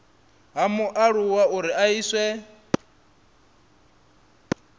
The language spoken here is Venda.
ha mualuwa uri a iswe